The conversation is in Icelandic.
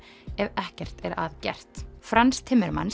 ef ekkert er að gert Frans